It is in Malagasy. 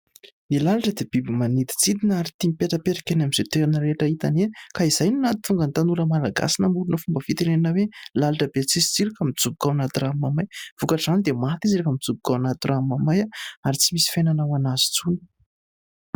Ny lalitra dia biby maniditsidina ary tia mipetrapetraka eny amin'izay torana rehetra hitany eny. Ka izay no nahatonga ny tanora malagasy namorona fomba fitenena hoe ; "lalitra be tsisy tsiro ka mijoboka ao anaty rano mamay." Vokatr'izany dia maty izy rehefa mijoboka ao anaty rano mamay ary tsy misy fiainana ho anazy intsony.